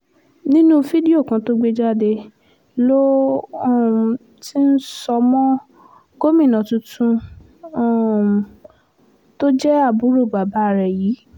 nínú fídíò kan tó gbé jáde ló um ti ń sọ mọ́ gómìnà tuntun um tó jẹ́ àbúrò bàbá rẹ̀ yìí